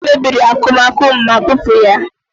Ide mmiri mebiri n'akụmakụ m ma bupu ya.